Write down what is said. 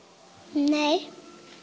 nei